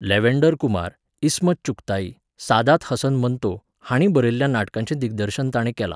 Lavender Kumar, Ismat Chughtai, Saadat Hasan Manto हाणीं बरयल्ल्या नाटकांचें दिग्दर्शन ताणें केलां.